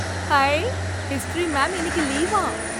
High! History ma'am இன்னைக்கு லீவாம்.